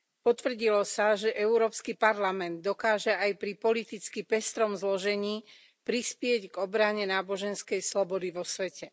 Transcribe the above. Potvrdilo sa, že Európsky parlament dokáže aj pri politicky pestrom zložení prispieť k obrane náboženskej slobody vo svete.